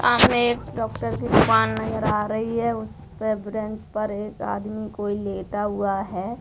एक डॉक्टर की दुकान नजर आ रही है उस पे बेन्च पर एक आदमी कोई लेटा हुआ है।